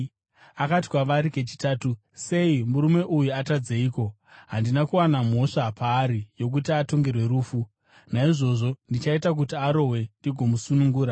Akati kwavari kechitatu, “Sei? Murume uyu atadzeiko? Handina kuwana mhosva paari yokuti atongerwe rufu. Naizvozvo, ndichaita kuti arohwe ndigomusunungura.”